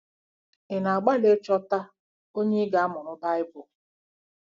Ị̀ na-agbalị ịchọta onye ị ga-amụrụ Baịbụl?